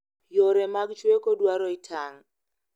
Yore mag chweko dwaro itang'